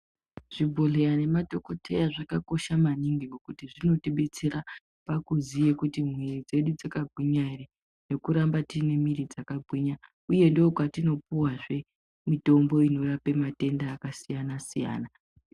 Chibhedhleya nemadhokoteya zvakakosha maningi ngekuti zvinotibetsera pakuziye kuti mwiri dzedu dzakagwinya ere. Nekuramba tine mwiri dzakagwinya, uye ndokwatinopuvazve mitombo inorapa matenda akasiyana-siyana.